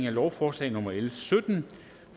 at lovforslaget